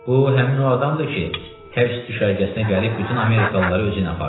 Bu həmin o adamdır ki, həbs düşərgəsinə gəlib bütün amerikalıları özüylə apardı.